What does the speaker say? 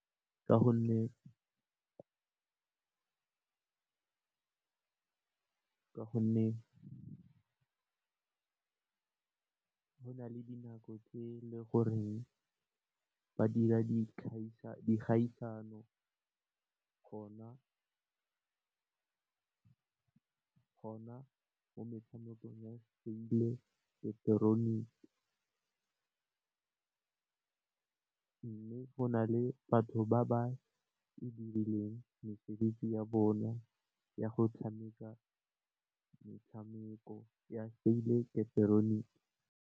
Ka gonne go na le dinako tse le gore ba dira dikgaisano gona mo metshamekong ya mme, go na le batho ba ba mesebetsi ya bona ya go tshameka metshameko ya .